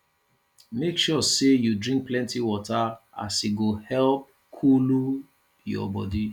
mek sure sey yu drink plenti water as e go help coolu yur bodi